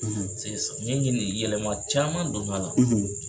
Piseke samiyɲɛ min ye nin ye yɛlɛma caman donna la.